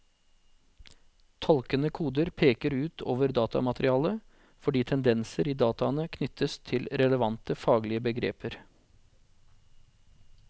Tolkende koder peker ut over datamaterialet, fordi tendenser i dataene knyttes til relevante faglige begreper.